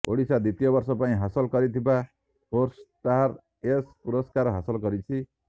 ଓଡ଼ିଶା ଦ୍ବିତୀୟ ବର୍ଷ ପାଇଁ ହାସଲ କରିଥିବା ସ୍ପୋର୍ଟସଷ୍ଟାର ଏସ୍ ପୁରସ୍କାର ହାସଲ କରିଛି